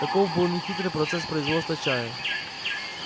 таков был нехитрый процесс производства чая